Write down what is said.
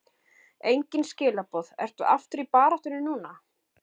Engin skilaboð Ertu aftur í baráttunni núna?